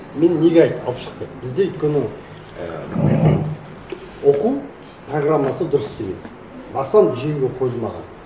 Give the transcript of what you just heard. мен неге айттым алып шықпайды бізде өйткені і оқу программасы дұрыс емес басынан жүйеге қойылмаған